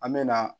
An me na